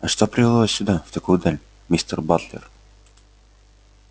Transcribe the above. а что привело сюда в такую даль мистер батлер